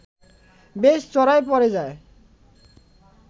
বেশ চড়াই পরে যায়